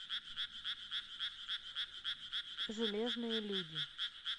железные люди